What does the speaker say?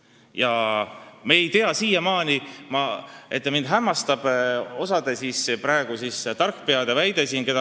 Ja ma ei tea, siiamaani mind hämmastab see mõnede tarkpeade väide.